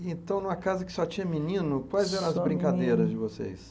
Então, numa casa que só tinha menino, quais eram as brincadeiras de vocês?